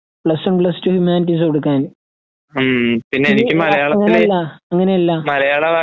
Plus one plus two ഹ്യൂമാനിറ്റീസെടുക്കാൻ. നീ അങ്ങനല്ലാ അങ്ങനെയല്ലാ